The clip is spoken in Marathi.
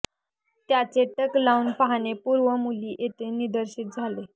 त्याच्या टक लावून पाहणे पूर्व मुली येथे निर्देशित झाले